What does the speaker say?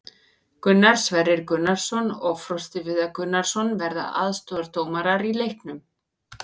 Gunnar Sverrir Gunnarsson og Frosti Viðar Gunnarsson verða aðstoðardómarar í leiknum.